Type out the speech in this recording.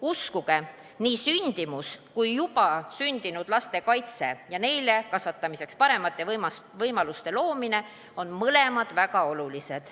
Uskuge, nii sündimus kui ka juba sündinud laste kaitse ja neile kasvatamiseks paremate võimaluste loomine on mõlemad väga olulised.